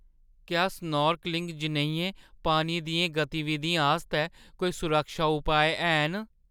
क्या स्नोर्कलिंग जनेहियें पानी दियें गतिविधियें आस्तै कोई सुरक्षा पुआऽ हैन?